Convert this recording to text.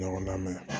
Ɲɔgɔndan mɛn